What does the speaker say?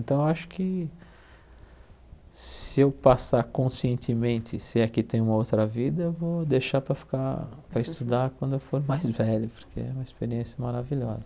Então, eu acho que se eu passar conscientemente, se é que tem uma outra vida, eu vou deixar para ficar, para estudar quando eu for mais velho, porque é uma experiência maravilhosa.